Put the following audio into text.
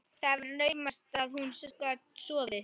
Það var naumast að hún gat sofið.